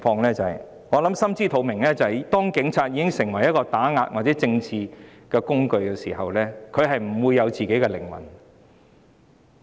大家心知肚明，當警察成為打壓或政治工具時，便不再有靈魂。